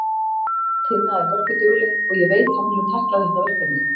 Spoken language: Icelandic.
Tinna er hörkudugleg og ég veit að hún mun tækla þetta verkefni.